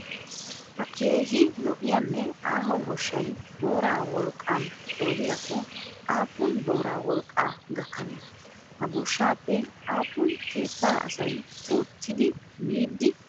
Ha keehi lo'iyaanne aaho goshshay boora wolqaan qoodiyaakko aapuun boora wolqqaa gakanee? Ha goshshaappe aapuun keettaa asay ootidi miidi aqi?